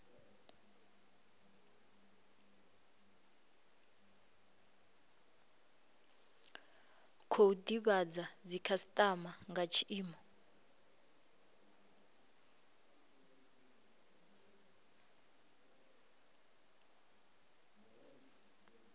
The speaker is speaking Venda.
khou divhadza dzikhasitama nga tshiimo